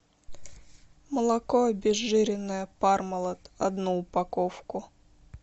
молоко обезжиренное пармалат одну упаковку